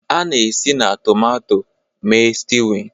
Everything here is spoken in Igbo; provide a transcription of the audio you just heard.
A na-esi na tomato mee stewing